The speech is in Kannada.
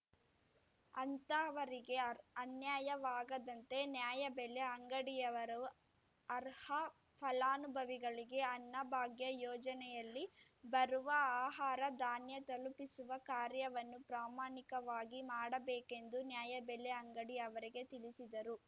ಅಂತಹವರಿಗೆ ಅನ್ಯಾಯವಾಗದಂತೆ ನ್ಯಾಯಬೆಲೆ ಅಂಗಡಿಯವರು ಅರ್ಹ ಫಲಾನುಭವಿಗಳಿಗೆ ಅನ್ನ ಭಾಗ್ಯ ಯೋಜನೆಯಲ್ಲಿ ಬರುವ ಆಹಾರ ಧಾನ್ಯ ತಲುಪಿಸುವ ಕಾರ್ಯವನ್ನು ಪ್ರಮಾಣಿಕವಾಗಿ ಮಾಡಬೇಕೆಂದು ನ್ಯಾಯಬೆಲೆ ಅಂಗಡಿ ಅವರಿಗೆ ತಿಳಿಸಿದರು